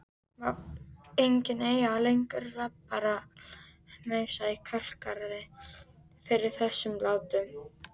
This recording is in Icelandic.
Má enginn eiga lengur rabbarbarahnausa í kálgarði fyrir þessum látum.